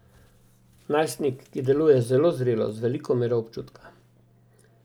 Najstnik, ki deluje zelo zrelo, z veliko mero občutka.